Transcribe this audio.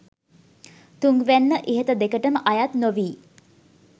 තුන්වැන්න ඉහත දෙකටම අයත් නොවී